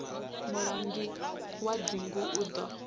mulangi wa dzingu u ḓo